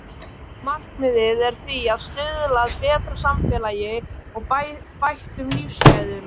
Markmiðið er því að stuðla að betra samfélagi og bættum lífsgæðum.